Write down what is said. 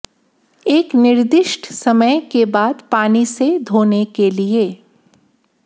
एक निर्दिष्ट समय के बाद पानी से धोने के लिए